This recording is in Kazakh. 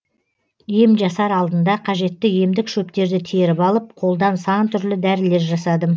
ем жасар алдында қажетті емдік шөптерді теріп алып қолдан сан түрлі дәрілер жасадым